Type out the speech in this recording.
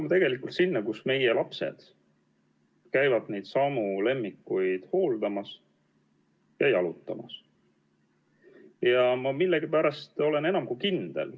Meie lapsed käivad seal neid lemmikloomi hooldamas ja nendega jalutamas.